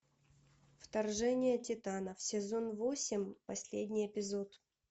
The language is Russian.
вторжение титанов сезон восемь последний эпизод